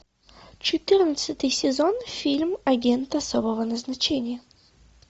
четырнадцатый сезон фильм агент особого назначения